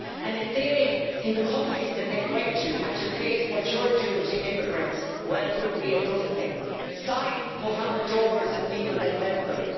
If they, in the countries that they went to, had to face what you're doing to immigrants, well, it wouldn't be a good thing signs put on the doors of people that helped them